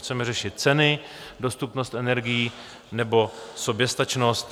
Chceme řešit ceny, dostupnost energií nebo soběstačnost?